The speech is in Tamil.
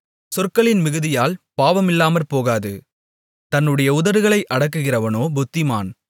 சொற்களின் மிகுதியால் பாவமில்லாமற்போகாது தன்னுடைய உதடுகளை அடக்குகிறவனோ புத்திமான்